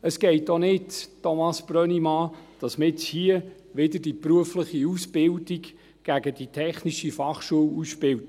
Es geht auch nicht, Thomas Brönnimann, dass man jetzt wieder die berufliche Ausbildung gegen die TF ausspielt.